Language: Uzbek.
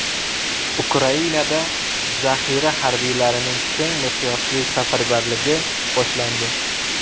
Ukrainada zaxira harbiylarining keng miqyosli safarbarligi boshlandi.